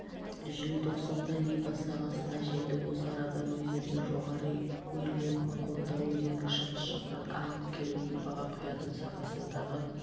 желтоқсанда либа сағасына жетіп осы арадан өзенді жоғары өрлеп макондо өзенінің шығыс жақтан ағып келіп либаға құятын сағасындағы